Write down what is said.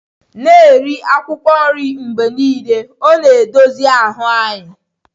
Na-eri akwụkwọ nri mgbe niile, ọ na-dozi ahụ anyị.